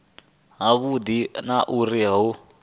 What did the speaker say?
ha vhudi na uri hu